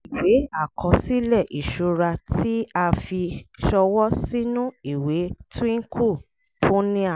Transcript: ìwé àkọsílẹ̀ ìṣura tí a fi ṣọwọ́ sínú ìwé twinkle punia